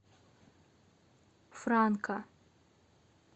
франка